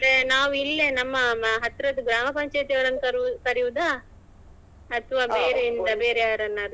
ಅದೇ ನಾವಿಲ್ಲೇ ನಮ್ಮ ಹತ್ರದ್ ಗ್ರಾಮಪಂಚಾಯತ್ ಅವರನ್ನು ಕರಿವು~ ಕರಿಯುದಾ ಅಥವಾ ಬೇರೆ ಎಂತ ಬೇರೆಯವರನ್ನಾದ್ರೂ.